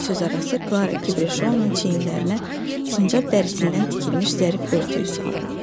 O sözarası Klara Kibrişounun çiyinlərinə sincab dərisindən tikilmiş zərif örtüyü saldı.